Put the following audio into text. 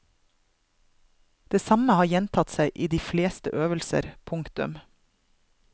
Det samme har gjentatt seg i de fleste øvelser. punktum